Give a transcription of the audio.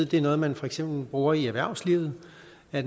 det er noget man for eksempel bruger i erhvervslivet